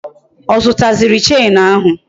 Ọ zụta ziri Chenu ahụ?